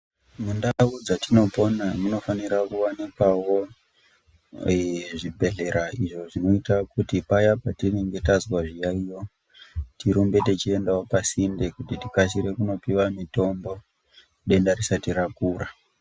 Mundau dzatinopona munofanira kuwanikwawo zvibhedhlera izvo zvinoita kuti paya petinenge tazwa zviyaiyo tirumbe techiendawo pasinde kuti tikasire kunopiwa mitombo, denda risati rakura.